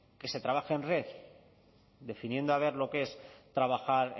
que se trabaje en red definiendo a ver lo que es trabajar